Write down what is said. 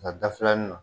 Nka da filanin na